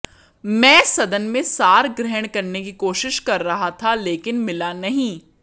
मैं सदन में सार ग्रहण करने की कोशिश कर रहा था लेकिन मिला नहीं